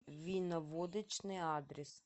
виноводочный адрес